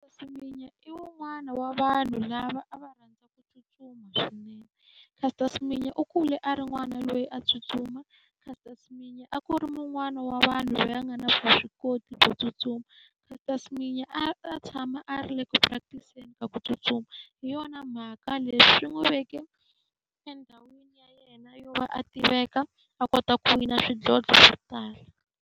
Seminya i wun'wana wa vanhu lava a va rhandza ku tsutsuma swinene. Caster Semenya u kule a ri n'wana loyi a tsutsuma, Caster Semenya a ku ri un'wani wa vanhu loyi a nga na vuswikoti byo tsutsuma. Caster Semenya a a tshama a ri le ku practice-eni ka ku tsutsuma, hi yona mhaka leswi n'wi veke endhawini ya yena yo va a tiveka a kota ku wina swidlodlo swo tala.